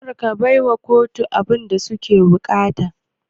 Karka baiwa kotu abunda suke buƙata